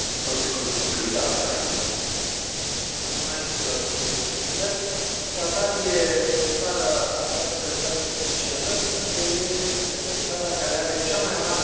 Domnule președinte, Qatar e o țară aflată într o situație specială, fiindcă e țara care are cea mai mare proporție de lucrători străini din lume.